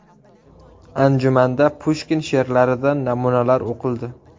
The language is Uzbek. Anjumanda Pushkin she’rlaridan namunalar o‘qildi.